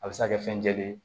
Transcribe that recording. A bɛ se ka kɛ fɛn jɛlen ye